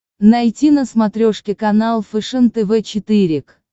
найти на смотрешке канал фэшен тв четыре к